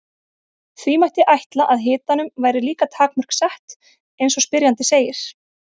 Því mætti ætla að hitanum væri líka takmörk sett eins og spyrjandi segir.